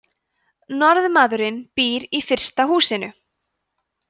norðmaðurinn býr í fyrsta húsinu